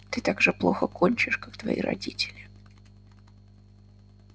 ты так же плохо кончишь как твои родители